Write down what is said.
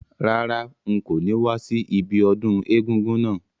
Rárá, n ko ni wa si ibiodún egúngún náà